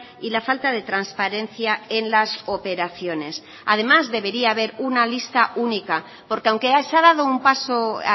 y la falta de transparencia en las operaciones además debería haber una lista única porque aunque se ha dado un paso